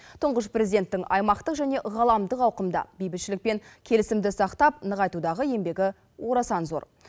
тұңғыш президенттің аймақтық және ғаламдық ауқымда бейбітшілік пен келісімді сақтап нығайтудағы еңбегі орасан зор